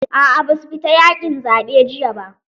A'a ba su fita yaqin zaɓe jiya ba.